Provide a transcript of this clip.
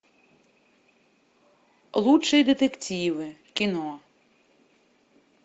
лучшие детективы кино